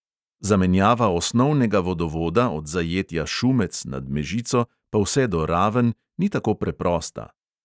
Zamenjava osnovnega vodovoda od zajetja šumec nad mežico pa vse do raven ni tako preprosta.